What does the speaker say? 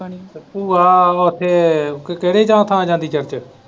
ਭੂਆ ਉੱਥੇ ਕਿਹੜੇ ਥਾਂ ਜਾਂਦੀ church